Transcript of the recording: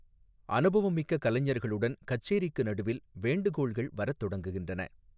அனுபவமிக்க கலைஞர்களுடன், கச்சேரிக்கு நடுவில், வேண்டுகோள்கள் வரத் தொடங்குகின்றன.